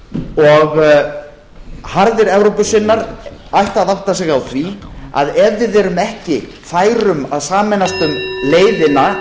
og harðir evrópusinnar ættu að átta sig á því að ef við erum ekki fær um að sameinast um leiðina